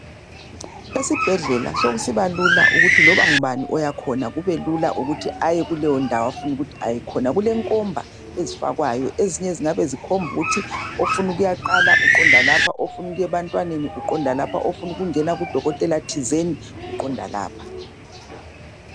Esibhedlela sokusiba lula ukuthi loba ngubani oyakhona kubelula ukuthi aye kuleyondawo afuna ukuyakhona. Kulenkomba ezifakwayo ezinye zingabe zikhomba ukuthi ofuna ukuyaqala uqonda lapha, ofuna ukuya ebantwaneni uqonda ngaphi lakudokotela thizeni uqonda lapha